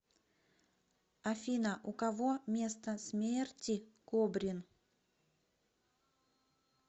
афина у кого место смерти кобрин